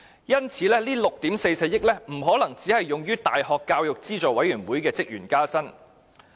因此，這6億 4,400 萬元不可能只用於大學教育資助委員會的職員加薪。